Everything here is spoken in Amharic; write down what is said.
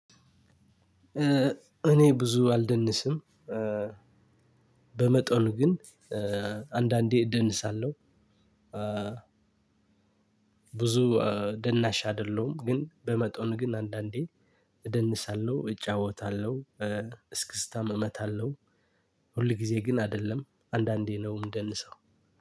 እኔ ብዙ አልደንስም። በመጠኑ ግን አንዳንዴ ደንሳለሁ። ብዙ ደናሻ አይደለሁም ግን በመጠኑ ግን አንዳንዴ እደንሳለሁ እጫወታለሁ እስክስታም እመታለሁ። ሁል ጊዜ ግን አይደለም አንዳንዴ ነው ምደንሰው።